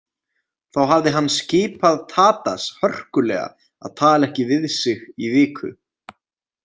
Þá hafði hann skipað Tadas hörkulega að tala ekki við sig í viku.